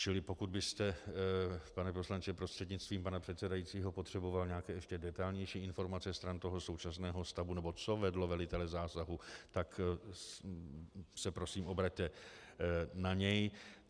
Čili pokud byste, pane poslanče prostřednictvím pana předsedajícího, potřeboval nějaké ještě detailnější informace stran toho současného stavu, nebo co vedlo velitele zásahu, tak se prosím obraťte na něj.